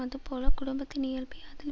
அதுபோல குடும்பத்தின் இயல்பை அதில்